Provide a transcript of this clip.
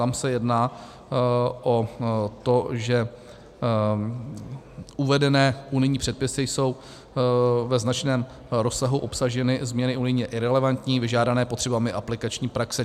Tam se jedná o to, že uvedené unijní předpisy jsou ve značném rozsahu obsaženy změny unijně irelevantní (?), vyžádané potřebami aplikační praxe.